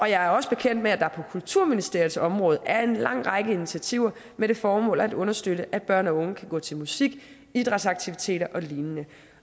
jeg er også bekendt med at der på kulturministeriets område er en lang række initiativer med det formål at understøtte at børn og unge kan gå til musik idrætsaktiviteter og lignende